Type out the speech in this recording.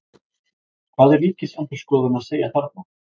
Hvað er Ríkisendurskoðun að segja þarna?